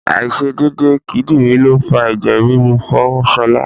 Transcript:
Àìṣedédé kídìrí ló fa ẹ̀jẹ̀ ríru fún Ṣọlá.